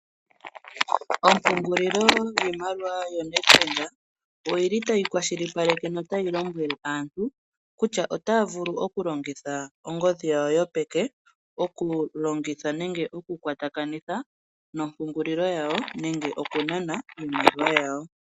Oopungulilo yiimaliwa yoNedBank oyili tayi kwashilipaleke notayi lombwele aantu kutya otaavulu okulongitha ongodhi yawo yopeke okulongitha nenge okukwatakanitha nopungulilo yawo nenge okunana iimaliwa yawo.